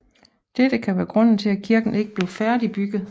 Dette kan være grunden til at kirken ikke blev færdigbygget